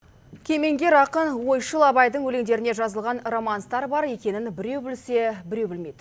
кемеңгер ақын ойшыл абайдың өлеңдеріне жазылған романстар бар екенін біреу білсе біреу білмейді